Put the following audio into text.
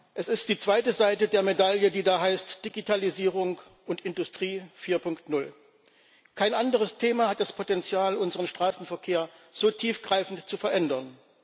Es ist die zweite Seite der Medaille, die da heißt Digitalisierung und Industrie 4.0. Kein anderes Thema hat das Potenzial, unseren Straßenverkehr so tiefgreifend zu verändern.